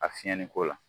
A fiyɛliko la